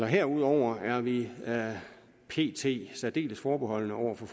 herudover er vi pt særdeles forbeholdne over for